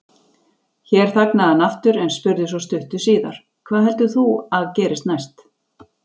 Hér þagnaði hann aftur, en spurði svo stuttu síðar: Hvað heldur þú að gerist næst?